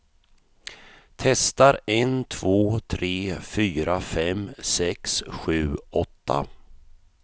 Testar en två tre fyra fem sex sju åtta.